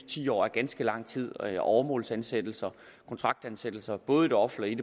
ti år er ganske lang tid åremålsansættelser og kontraktansættelser både i det offentlige